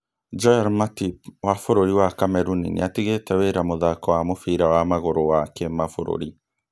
Joel Matip wa bũrũri wa Cameroon nĩatigĩte wĩra mũthako wa mũbĩra wa magũrũ wa kĩmabũrũri